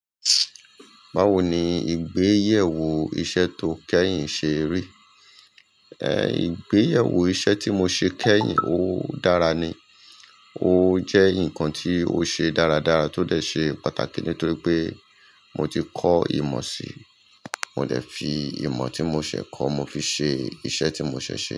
Máwo ni ìgbéyèwò iṣẹ́ tó kẹ́yìn ṣe rí? Eh, ìgbéyèwò iṣẹ́ tí mo ṣe kẹ́yìn, ó dára ni. Ó jẹ́ ǹkan tí ó ṣe dáradára tó dẹ̀ ṣe pàtàkì nítorí pé mo ti kọ́ ìmọ̀ si, mo dẹ̀ fi ìmọ̀ tí mo ṣẹ̀ kọ́, mo fi ṣe iṣẹ́ tí mo ṣẹ̀ ṣe.